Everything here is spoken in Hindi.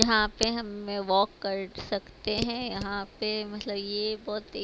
यहां पे हम में वॉक कर सकते है यहां पे मतलब ये बहोत ही--